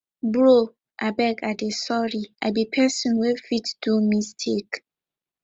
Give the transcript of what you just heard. bro abeg i dey sorry i be person wey fit do mistake